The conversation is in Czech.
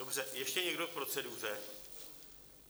Dobře, ještě někdo k proceduře?